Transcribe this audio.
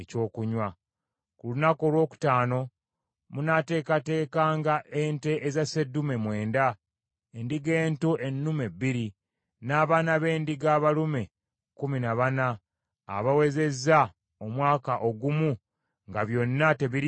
“Ku lunaku olwokutaano munaateekateekanga ente eza sseddume mwenda, endiga ento ennume bbiri, n’abaana b’endiga abalume kkumi na bana abawezezza omwaka ogumu nga byonna tebiriiko kamogo.